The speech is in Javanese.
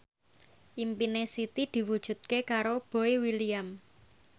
impine Siti diwujudke karo Boy William